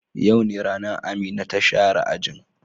Yau ne ranan Amina ta share ajin.